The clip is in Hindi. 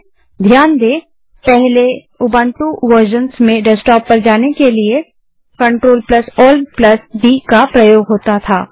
कृपया ध्यान दें कि पहले के उबंटू वेर्ज़न्स में डेस्कटॉप पर जाने के लिए CTRL ALT डी का प्रयोग होता था